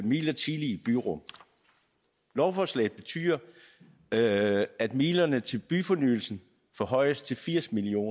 midlertidige byrum lovforslaget betyder at at midlerne til byfornyelsen forhøjes til firs million